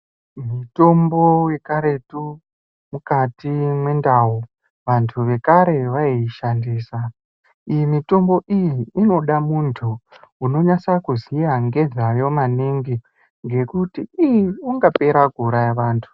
Mitombo yekaretu mukati mendau anhu ekare ayi shandisa iyi mutombo iyi inoda muntu unonasa kuziya nezvayo maningi ngekuti ii ungapera kuuraya vantu